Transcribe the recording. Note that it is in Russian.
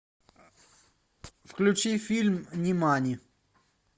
включи фильм нимани